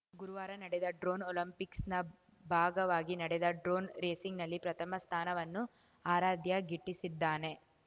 ಗುರುವಾರ ನಡೆದ ಡ್ರೋನ್‌ ಒಲಿಂಪಿಕ್ಸ್‌ನ ಭಾಗವಾಗಿ ನಡೆದ ಡ್ರೋನ್‌ ರೇಸಿಂಗ್‌ನಲ್ಲಿ ಪ್ರಥಮ ಸ್ಥಾನವನ್ನು ಆರಾಧ್ಯ ಗಿಟ್ಟಿಸಿದ್ದಾನೆ